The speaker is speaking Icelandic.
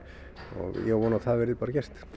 og ég á von á að það verði bara gert